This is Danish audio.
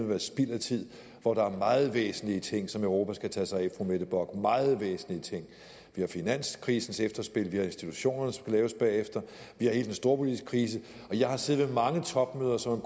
være spild af tid hvor der er meget væsentlige ting som europa skal tage sig af fru mette bock meget væsentlige ting vi har finanskrisens efterspil vi har institutionerne der skulle laves bagefter vi har hele den storpolitiske krise jeg har siddet ved mange topmøder som